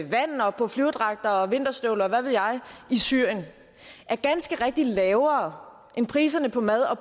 vand og på flyverdragter og vinterstøvler og hvad ved jeg i syrien er ganske rigtigt lavere end priserne på mad og